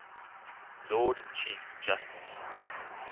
lord chief justice